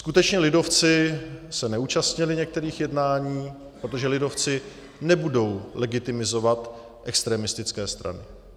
Skutečně, lidovci se neúčastnili některých jednání, protože lidovci nebudou legitimizovat extremistické strany.